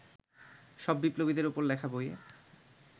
সব বিপ্লবীদের ওপর লেখা বইয়ে